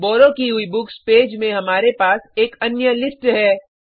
borrow की हुई books page में हमारे पास एक अन्य लिस्ट है